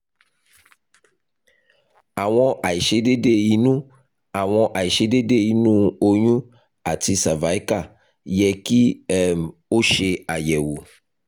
awọn aiṣedede inu awọn aiṣedede inu oyun ati cervical yẹ ki um o ṣe ayẹwo